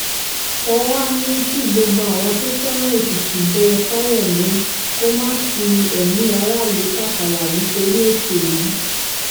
wọ́n wàá ní kí gbogbo àwọn tó fẹ́ràn èkìtì bẹ fáyemí kó má fi ẹ̀mí aráàlú tàfàlà nítorí òṣèlú